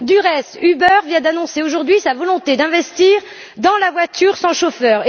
Par ailleurs, Uber vient d'annoncer aujourd'hui sa volonté d'investir dans la voiture sans chauffeur.